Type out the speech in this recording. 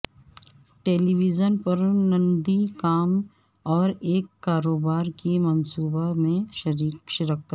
ٹیلی vision پر نندی کام اور ایک کاروبار کی منصوبہ میں شرکت